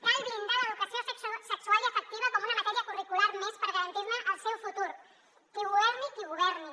cal blindar l’educació sexual i afectiva com una matèria curricular més per garantir ne el seu futur i governi qui governi